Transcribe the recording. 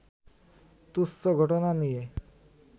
তুচ্ছ ঘটনা নিয়ে